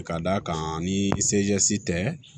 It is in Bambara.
Ka d'a kan ni tɛ